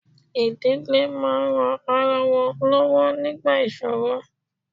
Ìdílé máa ń ran ara wọn lọ́wọ́ nígbà ìṣòro